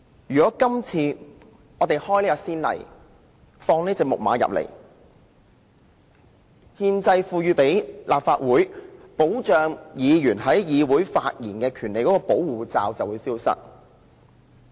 如果今次開了先例，放這隻"木馬"進來，憲制上賦予立法會保障議員在議會發言的權利的保護罩便會消失。